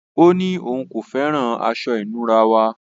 Ọ̀ ní ọún kò fẹ́ran àṣọ-ìnúrà wa.